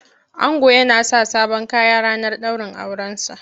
Ango yana sa sabon Kaya ranar daurin aure sa.